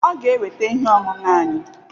Ọ ga-eweta ihe ọṅụṅụ anyị